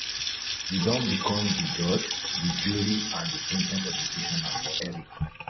you don become di judge di jury and di sen ten ce executioner for eric